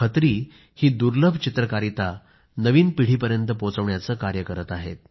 खत्री ही दुर्लभ चित्रकारिता नवीन पिढीपर्यंत पोहोचवण्याचे कार्य करत आहेत